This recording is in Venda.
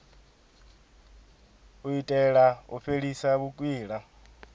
u itela u fhelisa vhukwila